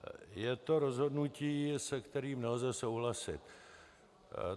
Je to rozhodnutí, se kterým nelze souhlasit.